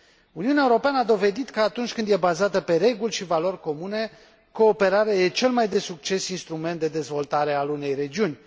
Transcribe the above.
Uniunea Europeană a dovedit că, atunci când este bazată pe reguli și valori comune, cooperarea este cel mai de succes intrument de dezvoltare al unei regiuni.